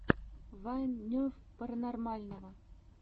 вайн нерв паранормального